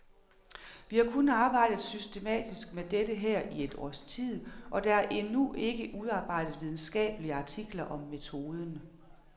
Vi har kun arbejdet systematisk med dette her i et års tid, og der er endnu ikke udarbejdet videnskabelige artikler om metoden.